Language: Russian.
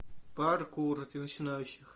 паркур для начинающих